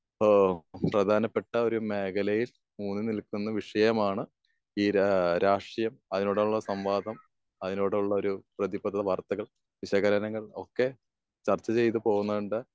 ഏഹ് പ്രധാനപ്പെട്ട ഒരു മേഖലയെ ഏഹ് മുൻ നിർത്തുന്ന വിഷയമാണ് ഏഹ് ഈ രാഷ്ട്രീയം അതിനോടുള്ള സംവാദം. അവരോടുള്ള ഒരു പ്രതിപദ്ധത വാർത്തകൾ വിശകലനങ്ങൾ ഒക്കെ ചർച്ച ചെയ്ത് പോകേണ്ട